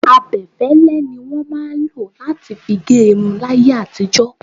Abẹ́fẹ́lẹ́ ni wọn máa ń lo láti fi gé irun láyé àtijó.